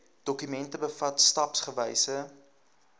dokument bevat stapsgewyse